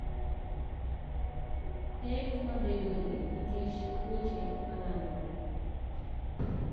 Pek mabedoe nikech tuoche malandore.